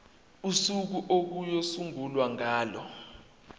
usuku okuyosungulwa ngalo